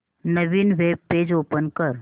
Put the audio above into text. नवीन web page open कर